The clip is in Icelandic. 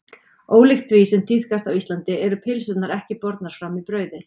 Ólíkt því sem tíðkast á Íslandi eru pylsurnar ekki bornar fram í brauði.